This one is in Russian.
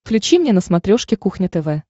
включи мне на смотрешке кухня тв